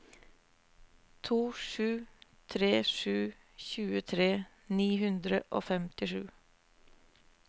to sju tre sju tjuetre ni hundre og femtisju